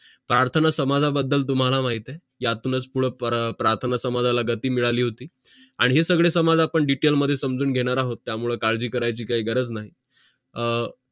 परतलो समजा बद्दल तुम्हाला माहित आहे या मूळच परतलो समाजाला पुड गतीमध्ये आहोत त्या मुळे मिळाली होती आणि हे सगडे समाज आपण detail मध्ये समजून घेणार आहो त्या मुळे काडजी करायची काही गरज नाही